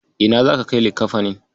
Ina zaka kai likkafanin?